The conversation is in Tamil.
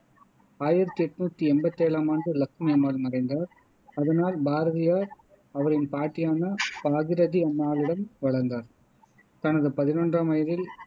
ஆயிரத்தி என்னுத்தி எம்பத்தி ஏழாமாண்டு இலக்குமி அம்மாள் மறைந்தார் அதனால் பாரதியார் அவரது பாட்டியான பாகீரதி அம்மாளிடம் வளர்ந்தார் தனது பதினொன்றாம் வயதில்